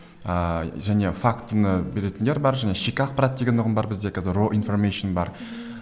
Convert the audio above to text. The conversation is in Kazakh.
ыыы және фактіні беретіндер бар және жеке ақпарат деген ұғым бар бізде қазір роинформейшн бар